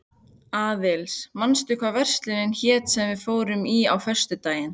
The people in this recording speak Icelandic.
Aðils, manstu hvað verslunin hét sem við fórum í á föstudaginn?